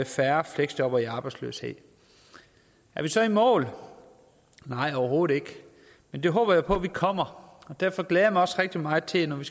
færre fleksjobbere i arbejdsløshed er vi så i mål nej overhovedet ikke men det håber jeg på at vi kommer og derfor glæder jeg mig også rigtig meget til når vi